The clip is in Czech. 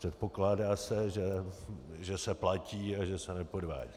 Předpokládá se, že se platí a že se nepodvádí.